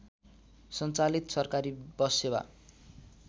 सञ्चालित सरकारी बससेवा